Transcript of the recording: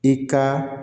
I ka